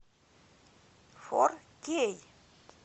фор кей